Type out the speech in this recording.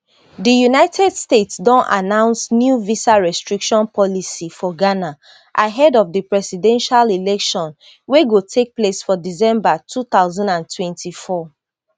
di united states don announce new visa restriction policy for ghana ahead of di presidential election wey go take place for december two thousand and twenty-four